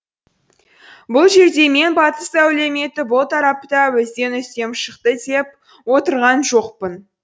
бұл жерде мен батыс әлеуметі бұл тарапта бізден үстем шықты деп отырған жоқпын